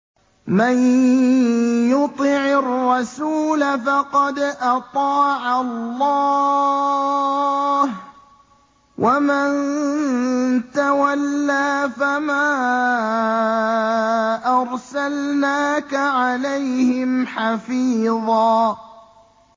مَّن يُطِعِ الرَّسُولَ فَقَدْ أَطَاعَ اللَّهَ ۖ وَمَن تَوَلَّىٰ فَمَا أَرْسَلْنَاكَ عَلَيْهِمْ حَفِيظًا